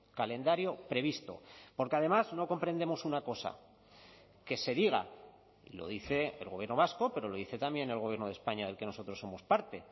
calendario previsto porque además no comprendemos una cosa que se diga lo dice el gobierno vasco pero lo dice también el gobierno de españa del que nosotros somos parte